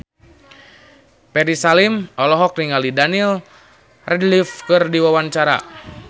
Ferry Salim olohok ningali Daniel Radcliffe keur diwawancara